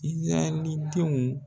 Izarahɛli denw